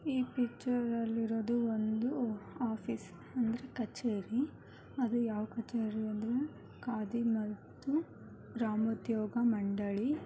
ಈ ಪಿಕ್ಚರ್ ಅಲ್ಲಿ ಇರೋದು ಒಂದು ಆಫಿಸ್ ಅಂದ್ರೆ ಕಛೇರಿ ಅದು ಯಾವ ಕಚೇರಿ ಅಂದ್ರೆ ಖಾದಿ ಮತ್ತು ಗ್ರಾಮೋದ್ಯೋಗ ಮಂಡಳಿ .